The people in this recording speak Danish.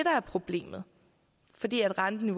er problemet fordi renten i